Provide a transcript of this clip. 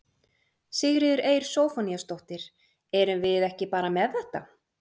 Sigríður Eir Zophoníasdóttir: Erum við ekki bara með þetta?